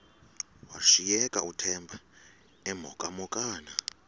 washiyeka uthemba emhokamhokana